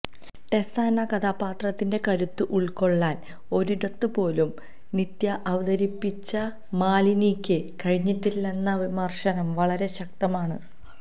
ടെസ എന്ന കഥാപാത്രത്തിന്റെ കരുത്ത് ഉള്ക്കൊള്ളാന് ഒരിടത്തുപോലും നിത്യ അവതരിപ്പിച്ച മാലിനിയ്ക്ക് കഴിഞ്ഞിട്ടില്ലെന്ന വിമര്ശനം വളരെ ശക്തമാണ്